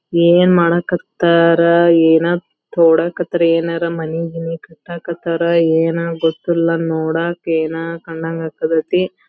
ಏನ್ ಮಾಡಕತ್ತರ್ ಏನೋ ತೊಡಕತ್ತರ್ ಯೇನಾರ್ ಮನಿ ಗಿನಿ ಕಟ್ಟಕತ್ತರ್ ಏನೋ ಗೊತ್ತಿಲ್ಲಾ ನೋಡಕೇನೋ ಕಂಡಗ್ .]